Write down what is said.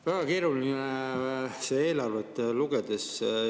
Väga keeruline on seda eelarvet lugeda.